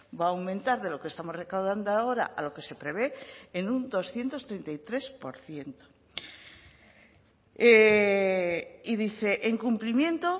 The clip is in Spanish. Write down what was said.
va a aumentar de lo que estamos recaudando ahora a lo que se prevé en un doscientos treinta y tres por ciento y dice en cumplimiento